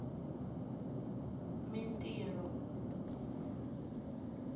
mintirho